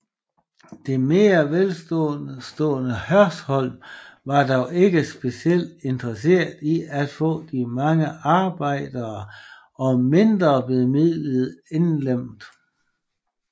Det mere velstående Hørsholm var dog ikke specielt interesserede i at få de mange arbejdere og mindrebemidlede indlemmet